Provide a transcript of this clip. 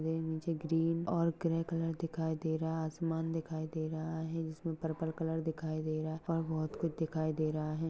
और ये नीचे ग्रीन और ग्रे कलर दिखाई दे रहा है। आसमान दिखाई दे रहा है। जिसमे पर्पल कलर दिखाई दे रहा है। और बहुत खुछ दिखाई देर रहा है।